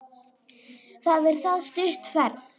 Það er það stutt ferð.